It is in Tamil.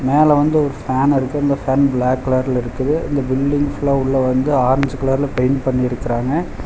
மேல வந்து ஒரு ஃபேன் இருக்கு அந்த ஃபேன் பிளாக் கலர்ல இருக்குது இந்த பில்டிங் ஃபுல்லா உள்ள வந்து ஆரஞ்சு கலர்ல பெயிண்ட் பண்ணிருக்குறாங்க.